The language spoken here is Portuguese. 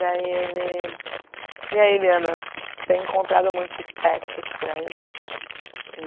Daí ele... E aí, Liana, tem encontrado muitos espectros por aí?